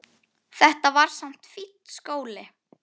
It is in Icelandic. Þetta var samt fínn skóli.